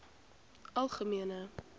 algemene